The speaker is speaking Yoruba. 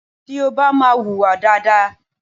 Tí o bá máa hùwà dáadáa.